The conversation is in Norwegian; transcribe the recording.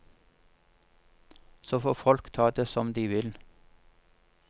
Så får folk ta det som de vil.